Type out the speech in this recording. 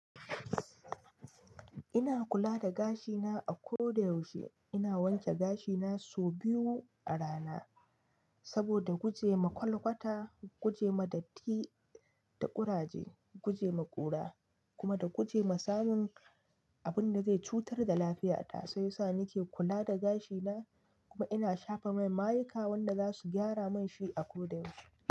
Ina kula da gashina a ko da yaushe. Ina wanke gashina sau biyu a rana, saboda guje wa kwalkwata, guje wa datti da ƙuraje, guje wa ƙura kuma da guje wa samun abunda zai cutar da lafiyata. Sai sa ni ke kula da gashina kuma ina shafa mai mayika wanda zasu gyara munshi a ko da yaushe.